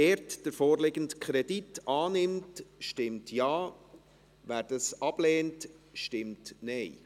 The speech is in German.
Wer den vorliegenden Kredit annimmt, stimmt Ja, wer dies ablehnt, stimmt Nein.